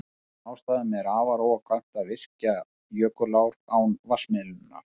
Af þessum ástæðum er afar óhagkvæmt að virkja jökulár án vatnsmiðlunar.